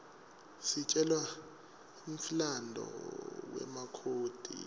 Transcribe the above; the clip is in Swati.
sitjelwa nqifmlanduo wemakhodi